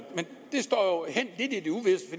står lidt hen